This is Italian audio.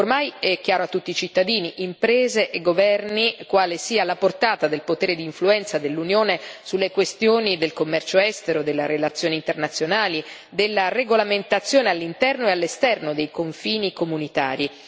Ormai è chiaro a tutti i cittadini, imprese e governi quale sia la portata del potere di influenza dell'Unione sulle questioni del commercio estero, delle relazioni internazionali, della regolamentazione all'interno e all'esterno dei confini comunitari.